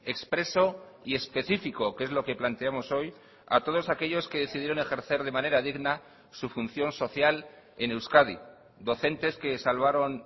expresoy específico que es lo que planteamos hoy a todos aquellos que decidieron ejercer de manera digna su función social en euskadi docentes que salvaron